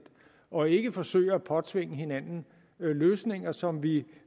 og ikke forsøger at påtvinge hinanden løsninger som vi